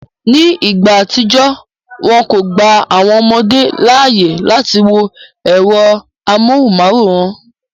Ní ìgbà àtijọ́, wọn kò gba àwọn ọmọdé láàyè láti wo ẹ̀rọ amóhùnmáwòrán